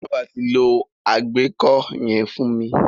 Bábà ti lo àgbẹ́kó yẹn fún mi.